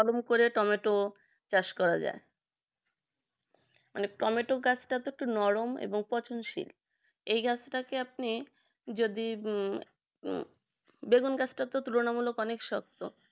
কলম করে টমেটো চাষ করা যায় মানে টমেটো গাছটা তো একটু নরম এবং পচনশীল এই গাছটাকে আপনি যদি হম বেগুন গাছটা তুলনামূলক অনেক শক্ত